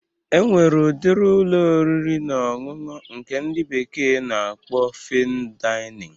E nwere udiri Ụlọ oriri na ọṅụṅụ nke ndị bekee na-akpọ Fain Dainịn